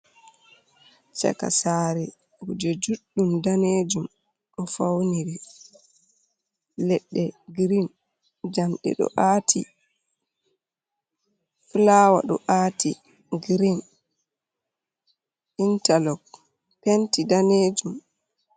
Chaka sare kuje juddum danejum, do fauniri ledde green jam de do aati flawa do aati green interlog penti danejum.